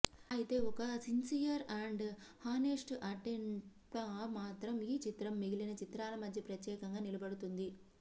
అయితే ఒక sincere and honest అటెంప్ట్గా మాత్రం ఈ చిత్రం మిగిలిన చిత్రాల మధ్య ప్రత్యేకంగా నిలబడుతుంది